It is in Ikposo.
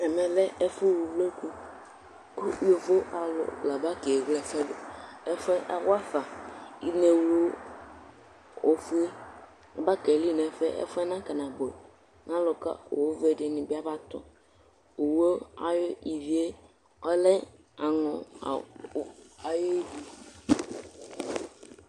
ɛmɛ lɛ ɛfu wu uvloku ko yovo alo la aba kewle ɛfuɛ do ɛfuɛ awafa inawlu ofue aba keli n'ɛfuɛ ɛfuɛ na kana bo mɛ alò ka owu vɛ di ni bi aba tɔ owu ayi ivie ɔlɛ aŋɔ ayi ivi